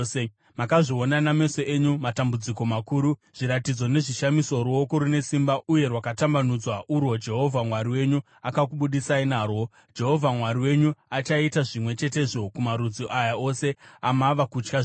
Makazviona nameso enyu matambudziko makuru, zviratidzo nezvishamiso, ruoko rune simba uye rwakatambanudzwa urwo Jehovha Mwari wenyu akakubudisai narwo. Jehovha Mwari wenyu achaita zvimwe chetezvo kumarudzi aya ose amava kutya zvino.